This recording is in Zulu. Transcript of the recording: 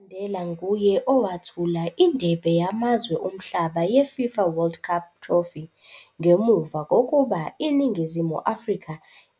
UMandela nguye owethula indebe yamazwe omhlaba, ye-FIFA World Cup Trophy ngemuva kokuba iNingizimu Afrika